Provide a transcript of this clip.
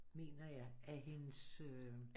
Mener jeg af hendes øh